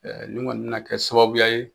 nin kɔni bɛna kɛ sababuya ye